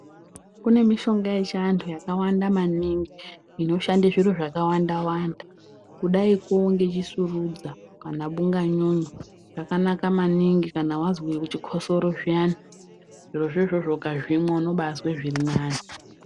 Kune mishonga yechiantu yakawanda maningi inoshande zviro zvakawanda wanda kudako ngechisurudza kana bunganyunyu yakanaka maningi kana wazwe chikosoro zviyani zvirozvo izvozvo ukazvimwa unobazwe zvirinani.